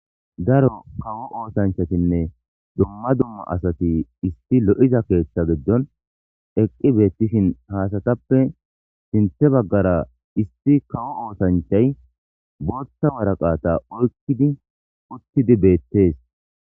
Daro kawo oosanchatinne dumma dumma asati isti lo7iza keeththa giddon eqqi beettishin haasatappe sinthe baggara isti kawo oosanchay bootta waraqata oykkidi uttidi beettees